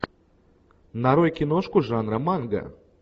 нарой киношку жанра манга